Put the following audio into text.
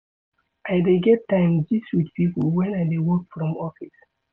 I dey get time gist wit pipo wen I dey work from office.